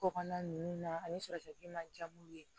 Kɔkan ninnu na ani sɔrɔtigi ma jab'u ye